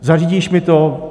Zařídíš mi to?